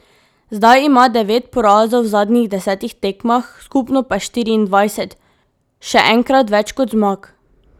Zdaj ima devet porazov v zadnjih desetih tekmah, skupno pa štiriindvajset, še enkrat več kot zmag.